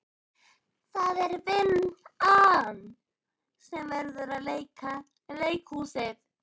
Það er vinn- an sem verður að vera leikhúsið þeirra.